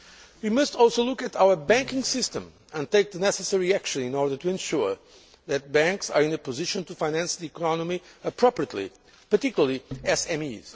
We must also look at our banking system and take the necessary action in order to ensure that banks are in a position to finance the economy appropriately, particularly SMEs.